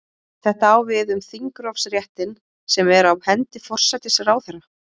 Þetta á við um þingrofsréttinn sem er á hendi forsætisráðherra.